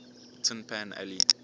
tin pan alley